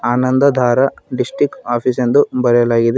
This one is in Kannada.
ಆನಂದ ದಾರ ಡಿಸ್ಟ್ರಿಕ್ಟ್ ಆಫೀಸ್ ಎಂದು ಬರೆಯಲಾಗಿದೆ.